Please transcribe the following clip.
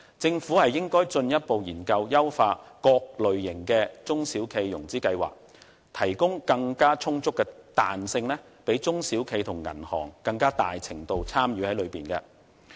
政府應該進一步研究優化各類型的中小企融資計劃，提供更充足的彈性，讓中小企和銀行更大程度參與其中。